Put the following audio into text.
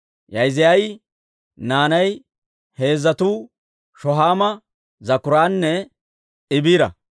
Yaa'iziyaa naanay heezzatuu Shohaama, Zakkuuranne Iibira.